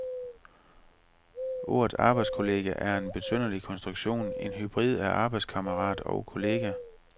Ordet arbejdskollega er en besynderlig konstruktion, en hybrid af arbejdskammerat og kollega.